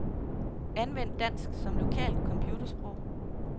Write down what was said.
Anvend dansk som lokalt computersprog.